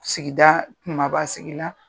Sigida kumaba sigi la